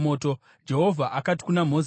Jehovha akati kuna Mozisi,